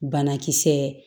Banakisɛ